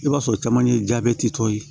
I b'a sɔrɔ caman ye tɔ ye